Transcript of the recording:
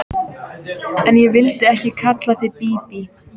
En ég vildi ekki kalla þig Bíbí.